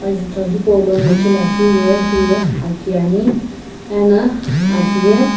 jutho hipaulono ithuluakeu ye hiye aki ani ena aki ye.